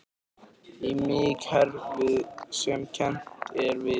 Í miðkerfinu sem kennt er við